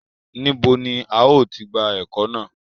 Níbo ni a ó ti gba ẹ́kọ́ náà?